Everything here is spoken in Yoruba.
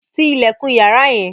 Tí ilẹkun yàrá yẹn!